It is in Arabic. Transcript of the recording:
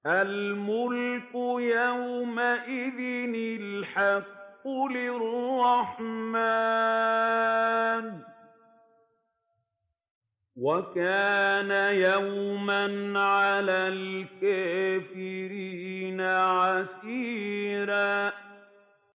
الْمُلْكُ يَوْمَئِذٍ الْحَقُّ لِلرَّحْمَٰنِ ۚ وَكَانَ يَوْمًا عَلَى الْكَافِرِينَ عَسِيرًا